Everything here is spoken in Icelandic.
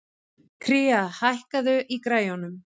Kría, hækkaðu í græjunum.